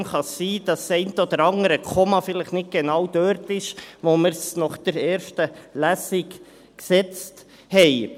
Deshalb kann es sein, dass das eine oder andere Komma vielleicht nicht genau dort ist, wo wir es nach der ersten Lesung gesetzt haben.